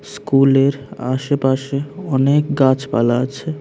স্কুলের আশেপাশে অনেক গাছপালা আছে।